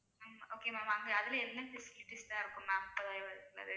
ஹம் okay ma'am அங்க அதுல என்னென்ன facilities லாம் இருக்கும் ma'am முப்பதாயிரம் ரூபாய் இருக்க உள்ளது